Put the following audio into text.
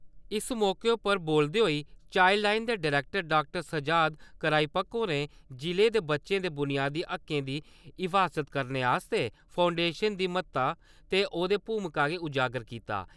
इस मौके उप्पर बोलदे होई चाईलड लाईन दे डायेक्टर डॉ. साजद कराईपक होरें जिले दे बच्चें दे बुनियादी हक्कें दी हिफाज़त करने आस्तै फाउंडेशन दी महत्ता ते औदी भूमिका गी उजागर कीता।